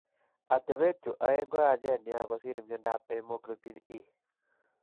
Atepet chu aeng' ko yachen nia kosir mnyandoap hemoglobin E.